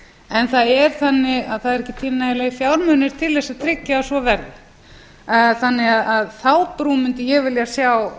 en það er þannig að það eru ekki til nægilegur fjármunir til þess að tryggja að svo verði þannig að þá brú mundi ég vilja sjá